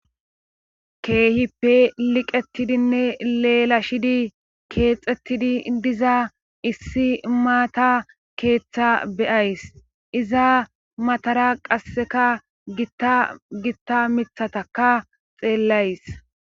keehippe liqettidinne leelashidi keexettidi diza issi maata keeththa be'ays iza matara qasseka gitta gitta mithataka xeellays